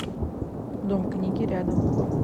дом книги рядом